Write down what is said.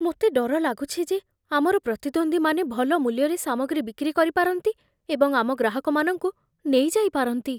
ମୋତେ ଡର ଲାଗୁଛି ଯେ ଆମର ପ୍ରତିଦ୍ୱନ୍ଦ୍ୱୀମାନେ ଭଲ ମୂଲ୍ୟରେ ସାମଗ୍ରୀ ବିକ୍ରି କରିପାରନ୍ତି ଏବଂ ଆମ ଗ୍ରାହକମାନଙ୍କୁ ନେଇଯାଇପାରନ୍ତି।